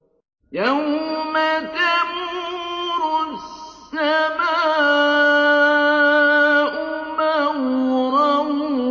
يَوْمَ تَمُورُ السَّمَاءُ مَوْرًا